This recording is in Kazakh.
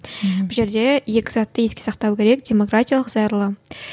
бұл жерде екі затты еске сақтау керек демократиялық зайырлы